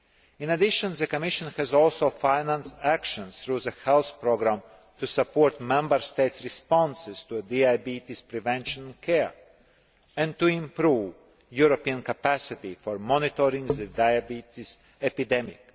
In addition, the Commission has also financed action through the Health programme to support Member States' responses to diabetes prevention and care and to improve European capacity for monitoring the diabetes epidemic.